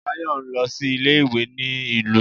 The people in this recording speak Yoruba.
Bayo n lọ sí ilé ìwé ní ìlú